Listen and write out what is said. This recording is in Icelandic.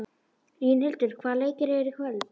Línhildur, hvaða leikir eru í kvöld?